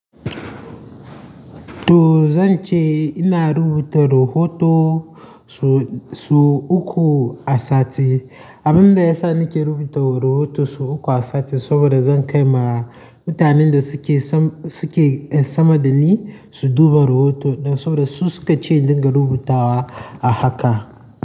To zan ce ina rubuta rahoto su, su uku a sati. Abin da yasa nake rubuta rahoto sau uku a sati saboda zan kai ma mutanen da suke sam, suke sama da ni su duba rahoto ɗin saboda su suka ce in dinga rubutawa a haka.